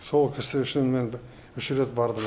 сол кісі үшін мен үш рет бардым